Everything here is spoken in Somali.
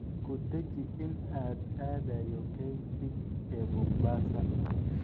Ku dhaji in aan aadayo Kenchic ee Mombasa